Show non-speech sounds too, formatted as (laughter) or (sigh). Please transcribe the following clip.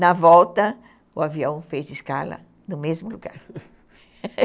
Na volta, o avião fez escala no mesmo lugar (laughs)